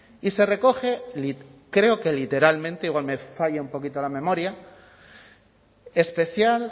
y se recoge creo que literalmente igual me falla un poquito la memoria especial